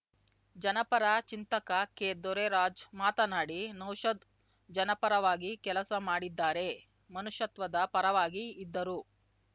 ಜನಪರ ಚಿಂತಕ ಕೆದೊರೈರಾಜ್ ಮಾತನಾಡಿ ನೌಷಾದ್ ಜನಪರವಾಗಿ ಕೆಲಸ ಮಾಡಿದ್ದಾರೆ ಮನುಷ್ಯತ್ವದ ಪರವಾಗಿ ಇದ್ದರು